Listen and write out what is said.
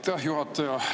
Aitäh, juhataja!